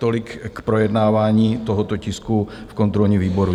Tolik k projednávání tohoto tisku v kontrolním výboru.